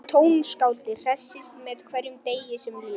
Tónskáldið hressist með hverjum degi sem líður.